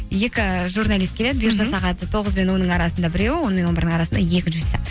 екі журналист келеді сағат тоғыз бен онның арасында біреу он мен он бірдің арасында екіншісі